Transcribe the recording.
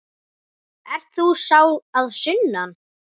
Ert þú sá að sunnan?